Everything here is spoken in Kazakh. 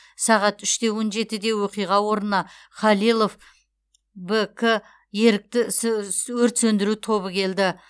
сағат үш те он жетіде оқиға орнына халилов бк ерікті өрт сөндіру тобы келді